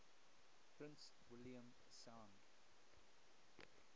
prince william sound